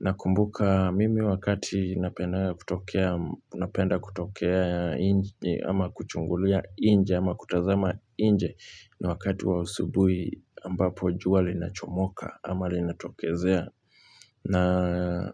Nakumbuka mimi wakati napenda kutokea nje ama kuchungulia nje ama kutazama nje. Ni wakati wa asubuhi ambapo jua linachomoka ama linatokezea na.